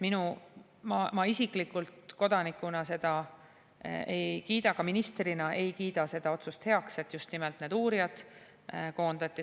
Ma isiklikult kodanikuna ja ka ministrina ei kiida heaks seda otsust, et just nimelt need uurijad koondati.